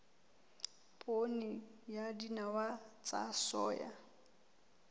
poone le dinawa tsa soya